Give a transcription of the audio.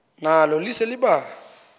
nalo lise libaha